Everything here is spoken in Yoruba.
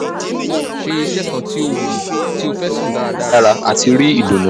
ṣe iṣẹ kan ti o wuyi ti o fẹ sun daradara ati ri idunnu